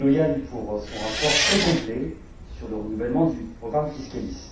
Stolojan pour son rapport très complet sur le renouvellement du programme Fiscalis.